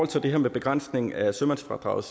til det her med begrænsning af sømandsfradraget